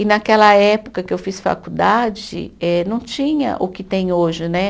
E naquela época que eu fiz faculdade, eh não tinha o que tem hoje, né?